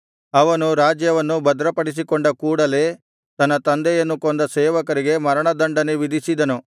ಅವನು ರಾಜ್ಯವನ್ನು ಭದ್ರಪಡಿಸಿಕೊಂಡ ಕೂಡಲೇ ತನ್ನ ತಂದೆಯನ್ನು ಕೊಂದ ಸೇವಕರಿಗೆ ಮರಣದಂಡನೆ ವಿಧಿಸಿದನು